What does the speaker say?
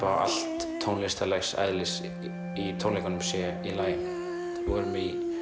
að allt tónlistarlegs eðlis í tónleikunum sé í lagi við vorum